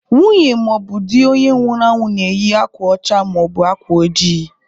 Nwunye maọbụ di onye nwụrụ anwụ na-eyi akwa ọcha maọbụ akwa ojii.